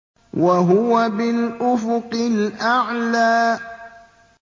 وَهُوَ بِالْأُفُقِ الْأَعْلَىٰ